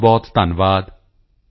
ਬਹੁਤਬਹੁਤ ਧੰਨਵਾਦ